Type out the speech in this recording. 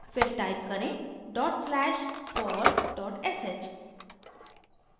फिर type करें: /for sh